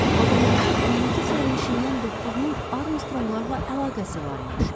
Vaqondakı 12 sərnişindən doqquzunun Armstronqlarla əlaqəsi var imiş.